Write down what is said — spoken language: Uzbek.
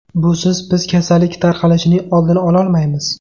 Busiz biz kasallik tarqalishining oldini ololmaymiz.